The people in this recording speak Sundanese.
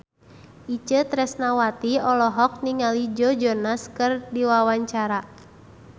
Itje Tresnawati olohok ningali Joe Jonas keur diwawancara